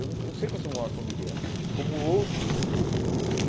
Eu sei que eu sou um órfão de guerra, como outros e.